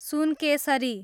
Sunkesari